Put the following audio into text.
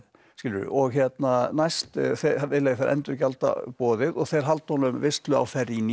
og næst vilja þeir endurgjalda boðið og þeir halda honum veislu á